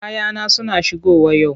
Kayana suna shigowa yau.